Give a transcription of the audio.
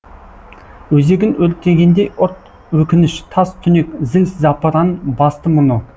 өзегін өртегендей ұрт өкініш тас түнек зіл запыран басты мұны